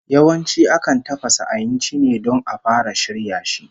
Yawanci akan tafasa ainci ne don a fara shirya shi